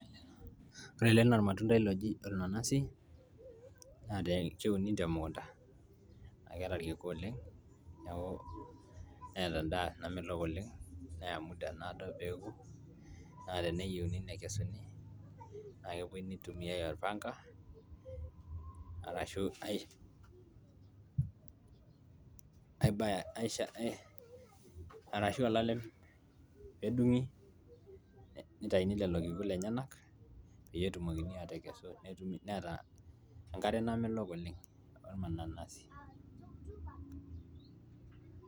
ore ele naa ormatundai loji ornanasi naa keuni temukunta naa keeta irkiku oleng neeku, neeta endaa namelok oleng neya muda naado peeku naa teneyieuni nekesuni naa kepuoi nitumiay orpanga arashu ae arashu olalem peedung'i nitaini lelo kiku lenyenak peyie etumokini aatekesu netumi, neeta enkare namelok oleng ormananasi.